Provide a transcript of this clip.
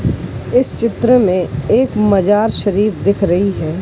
इस चित्र में एक मजार शरीफ दिख रही है।